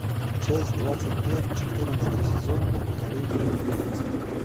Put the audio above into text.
часть двадцать пять четырнадцатый сезон поколение убийц